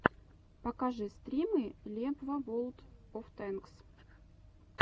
покажи стримы лебва ворлд оф тэнкс